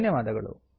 ಧನ್ಯವಾದಗಳು